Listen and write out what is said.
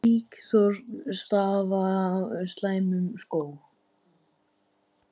Líkþorn stafa af slæmum skóm.